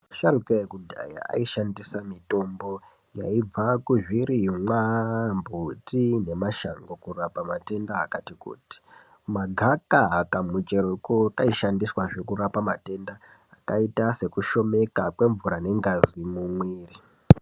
Asharuka ekudhaya ayi shandisa mitombo yaibva ku zvirimwa mbuti ne mashango kurapa matenda akati kuti magaka ka mucheroko kaishandiswazve kurapa matenda akaita seku shomeka kwe mvura ne ngazi mu mwiri.